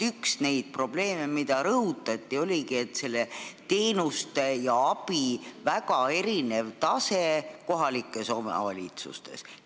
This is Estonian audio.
Üks neid probleeme, mida rõhutati, oligi see, et teenuste ja abi tase on kohalikes omavalitsustes väga erinev.